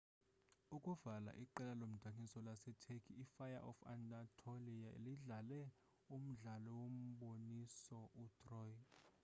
ukuvala iqela lomdaniso lase-turkey i-fire of anatolia lidlale umdlalo wombonisoo u- troy